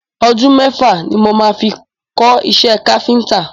Ọdún mẹ́fà ni mo máa fi kọ́ iṣẹ́ káfíntà.